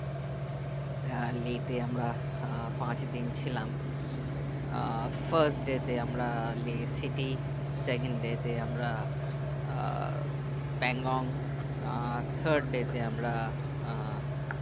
হ্যাঁ লে তে আমরা আহ পাঁচদিন ছিলাম আহ first day তে আমরা লে citysecond day তে আমরা আহ ব্যাংগং আহ third day তে আমরা আহ